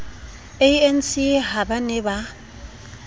anc ha ba ne ba